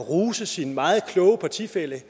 rose sin meget kloge partifælle